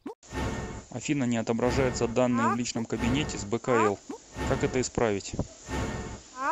афина не отображаются данные в личном кабинете с бкл как это исправить